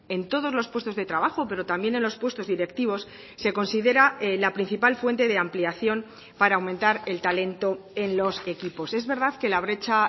en todos los puestos de trabajo pero también en los puestos directivos se considera la principal fuente de ampliación para aumentar el talento en los equipos es verdad que la brecha